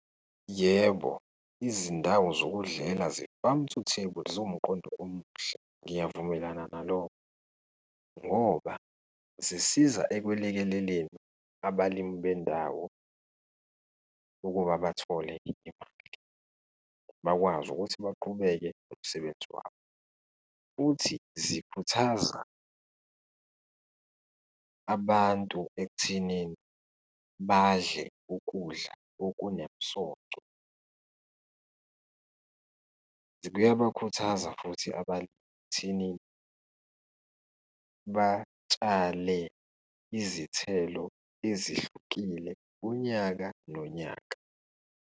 Yebo, izindawo zokudlela ze-farm to table, ziwumqondo omuhle, ngiyavumelelana nalokho ngoba zisiza ekweleleleleni abalimi bendawo ukuba bathole imali, bakwazi ukuthi baqhubeke nomsebenzi wabo. Futhi zikhuthaza abantu ekuthenini badle ukudla okunemisoco. Kuyabakhuthaza futhi abantu ekuthenini batshale izithelo ezihlukile unyaka nonyaka.